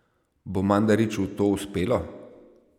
Bo Mandariču to uspelo?